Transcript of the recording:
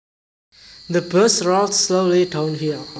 The bus rolled slowly downhill